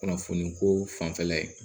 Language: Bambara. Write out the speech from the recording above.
Kunnafoniko fanfɛla ye